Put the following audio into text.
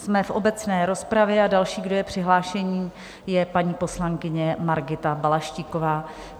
Jsme v obecné rozpravě a další, kdo je přihlášený, je paní poslankyně Margita Balaštíková.